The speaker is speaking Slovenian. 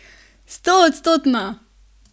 Stoodstotno!